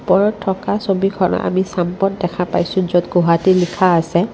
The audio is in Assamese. ওপৰত থকা ছবিখন আমি দেখা পাইছোঁ য'ত গুৱাহাটী লিখা আছে।